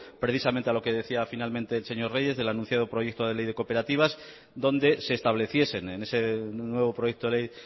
precisamente a lo que decía finalmente el señor reyes del anunciado proyecto de ley de cooperativas donde se estableciesen en ese nuevo proyecto de ley